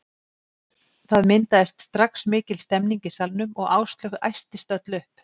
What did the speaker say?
Það myndaðist strax mikil stemning í salnum og Áslaug æstist öll upp.